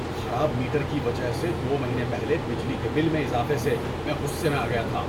خراب میٹر کی وجہ سے دو مہینے پہلے بجلی کے بل میں اضافے سے میں غصے میں آ گیا تھا۔